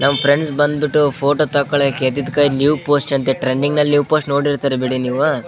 ನಮ್ ಫ್ರೆಂಡ್ಸ್ ಬಂದ್ಬಿಟ್ಟು ಫೋಟೋ ತಗೋಳಕ್ಕೆ ಇದ್ದಿದ್ ಕೈ ನ್ಯೂವ ಪೋಸ್ಟರ್ ಅಂತೇ ಟ್ರೆಂಡಿಗ ಅಲ್ಲಿ ನ್ಯುವ್ ಪೋಸ್ಟ್ ನೋಡಿರ್ತೀರಿ ಬಿಡಿ ನೀವು --